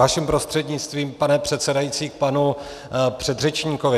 Vaším prostřednictvím, pane předsedající, k panu předřečníkovi.